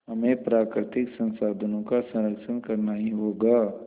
हमें प्राकृतिक संसाधनों का संरक्षण करना ही होगा